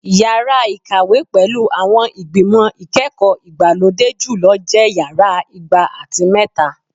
Yara ikawe pẹlu awọn igbimọ ikẹkọ igbalode julọ jẹ Yara igba ati mẹta